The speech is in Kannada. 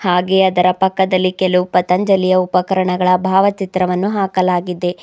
ಹಾಗೆ ಅದರ ಪಕ್ಕದಲ್ಲಿ ಕೆಲವು ಪತಂಜಲಿಯ ಉಪಕರಣಗಳ ಭಾವಚಿತ್ರವನ್ನು ಹಾಕಲಾಗಿದೆ.